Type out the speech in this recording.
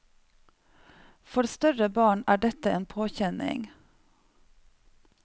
For større barn er dette en påkjenning.